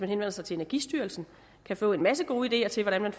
henvender sig til energistyrelsen kan få en masse gode ideer til hvordan man